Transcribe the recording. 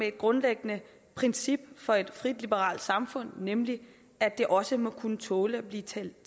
et grundlæggende princip for et frit liberalt samfund nemlig at det også må kunne tåle at blive talt